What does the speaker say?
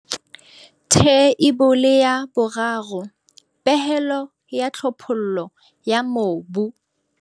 Theibole ya 3. Pehelo ya tlhophollo ya mobu.